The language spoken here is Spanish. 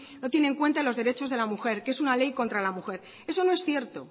no tiene en cuenta los derechos de la mujer que es una ley contra la mujer eso no es cierto